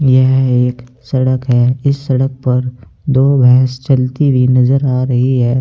यह एक सड़क है इस सड़क पर दो भैंस चलती हुई नजर आ रही है।